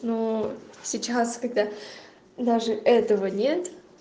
но сейчас когда даже этого нет